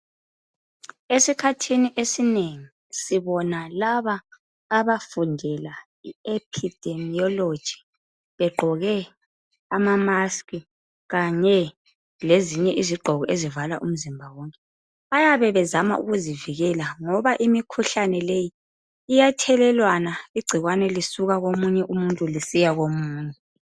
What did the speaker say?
Esikhathini esinengi sibona laba abafundela i epidemiology, begqoke amamask kanye lezinye izigqoko ezivala umzimba wonke. Bayabe bezama ukuzivikela ngoba imikhuhlane leyi iyathelelwana, igcikwane lisuka komunye umuntu lisiya komunye.